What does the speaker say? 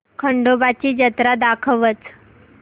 खंडोबा ची जत्रा दाखवच